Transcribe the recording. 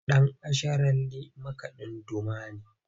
Dan’asharalle makadin Duma ne.